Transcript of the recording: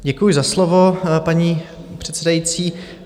Děkuji za slovo, paní předsedající.